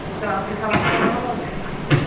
তোমাদের আত্মীয় স্বজনদের সঙ্গে কথা বলে?